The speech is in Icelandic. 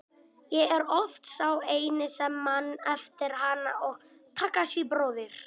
Ég er oft sá eini sem man eftir henni og Takashi bróðir.